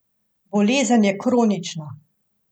Bolezen je kronična.